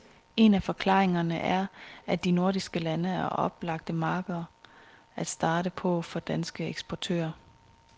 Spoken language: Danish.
En af forklaringerne er, at de nordiske lande er oplagte markeder at starte på for danske eksportører.